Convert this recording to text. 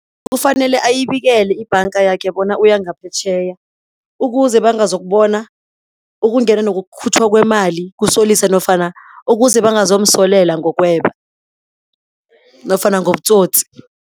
Kufanele ayibikele ibhanga yakhe bona uyangaphetjheya, ukuze bangazokubona ukungena nokukhutjhwa kwemali kusolisa nofana ukuze bangazomsolela ngokweba nofana ngobutsotsi.